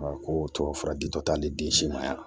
Ko tubabufura di dɔ tali den si ma yan